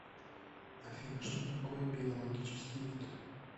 афина что такое биологический вид